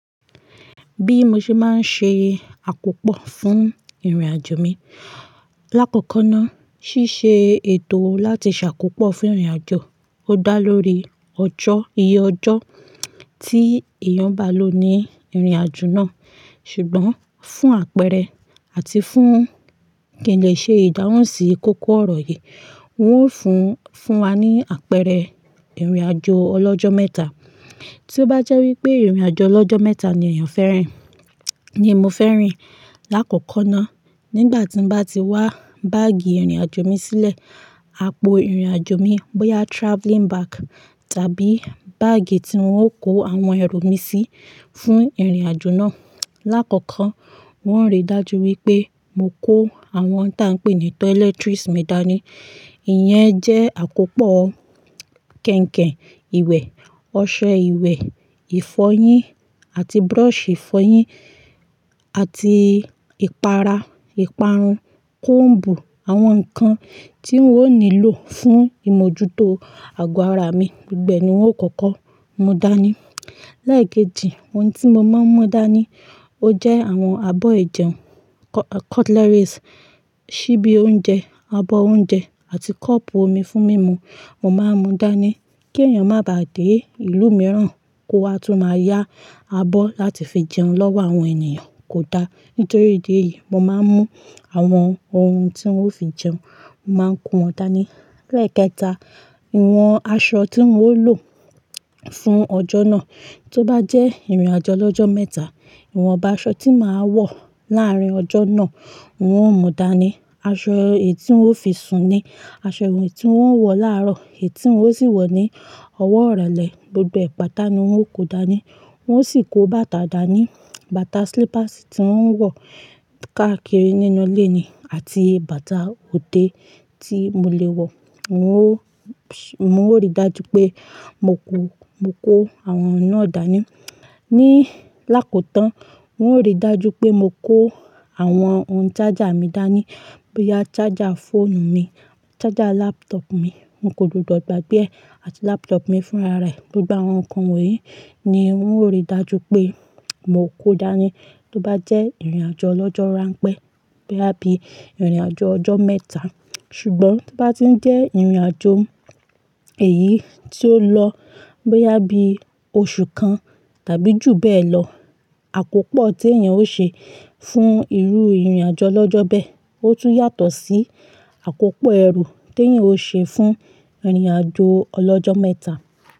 Bí mo ṣe máa ń ṣe àkópọ̀ fún ìrìnàjò mi, lákoòko náà ṣíṣe ètò láti ṣàkópọ̀ fún ìrìnàjò. Ó dá lórí ọjọ́, iye ọjọ́ tí èèyàn bá lò ní ìrìnàjò náà. Ṣùgbọ́n fún àpẹẹrẹ àti fún kí n lè ṣe ìdáhùn sí ìkókó ọ̀rọ̀ yìí, wó n fún, fún wa ní àpẹẹrẹ ìrìnàjò ọlọ́jọ́ mẹ́ta. Tí ó bá jẹ́ wí pé ìrìnàjò ọlọ́jọ́ mẹ́ta ni èèyàn fẹ́ rìn, ni mo fẹ́ rìn. Láàkọ́kọ́ náà nígbà tí n bá ti wá báàgì ìrìnàjò mi sílẹ̀, àpò ìrìnàjò mi bóyá travelling bag tàbí báàgì tí ń wó kó àwọn ẹ̀rù mi sí fún ìrìnàjò náà. Láàkọ́kọ́ wọ́n ń ríi dájú wípé mo kó àwọn ohun tí a ń pè ní toiletries mi dání. Ìyẹn jẹ́ àkópọ̀ kẹ̀ǹkẹ̀ ìwẹ̀, ọṣẹ ìwẹ̀, ìfọyín àti brush ìfọyín àti ìpara, ìparun, comb, àwọn nǹkan tí wó nílò fún ìmójútó àgọ́ ara mi, gbogbo ni wó kọ́kọ́ mú dání. Lẹ́ẹ̀keji ohun tí mo máa ń mú dání o jẹ́ àwọn abọ́ ìjẹun, cutleries, ṣíbí oúnjẹ, abọ́ oúnjẹ àti kọ́pù omi fún mímu. Mo máa ń mú dání kí èèyàn má bà dé ìlú mìíràn kó wa tún máa yá abọ́ láti fi jẹun lọ́wọ́ àwọn ènìyàn, kò da. Nítorí ìdí èyí mo máa ń mú àwọn ohun tí ń wó fi jẹun, mo máa ń kó wọn dání. Lẹ́ẹ̀kẹta, ìwọ̀n aṣọ tí ń wó lò fún ọjọ́ náà. Tí ó bá jẹ́ ìrìnàjò ọlọ́jọ́ mẹ́ta, ìwọ̀nba aṣọ tí màá wọ̀ láàrin ọjọ́ náà wò mú dání. Aṣọ èyí tí ń wó fi sùn ní, aṣọ èyí tí ń wó wọ̀ láàárọ̀, èyí tí ń wó sì wọ̀ ní ọwọ́ irolẹ̀ gbogbo ẹ̀ pàtà ni wo ó kò dání. Wọ́n sì kó bàtà dà ní, bàtà slippers tí ń wọ́n wọ̀ káàkiri nínú ilé ni àti bàtà òde tí mo lè wọ̀. Mó ríi dájú pé mo kó, mo kó àwọn náà dání. Ni lákòótán, wó ríi dájú pé mo kó àwọn ohun charger mi dání. Bóyá charger fóònù mi, charger laptop mi. N kò gbọdọ̀ gbàgbé ẹ̀ àti laptop mi fúnra rẹ̀. Gbogbo àwọn nǹkan wọ̀nyí ni wó ríi dájú pé mo kó dání tí ó bá jẹ́ ìrìnàjò ọlọ́jọ́ ránpẹ́, bóyá bí ìrìnàjò ọjọ́ mẹ́ta. Ṣùgbọ́n tí ó bá ti ń jẹ́ ìrìnàjò èyí tí ó lọ bóyá bí oṣù kan tàbí jù bẹ́ẹ̀ lọ, àkópọ̀ tí èèyàn ó ṣe fún irú ìrìnàjò ọlọ́jọ́ bẹ́ẹ̀, ó tún yàtọ̀ sí àkópọ̀ ẹrú tí èèyàn ó ṣe fún ìrìnàjò ọlọ́jọ́ mẹ́ta.